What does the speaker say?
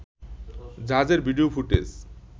জাহাজের video footage